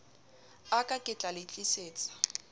a ka ketla le tlisetsa